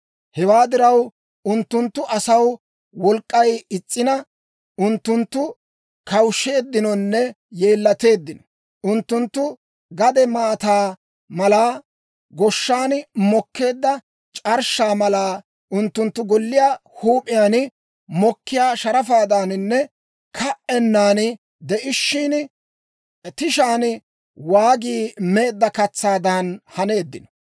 Hewaa diraw, unttunttu asaw wolk'k'ay is's'ina, unttunttu kawushsheeddinonne yeellateeddino. Unttunttu gade maataa mala; goshshan mokkeedda c'arshshaa mala. Unttunttu golliyaa huup'iyaan mokkiyaa sharafaadaaninne ka"ennan de'ishshin, tishaan waagi meedda katsaadan haneeddino.